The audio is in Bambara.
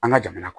An ka jamana kɔnɔ